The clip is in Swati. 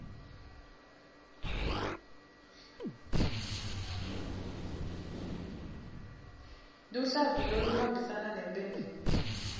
luhlavu loluhambisana nemphendvulo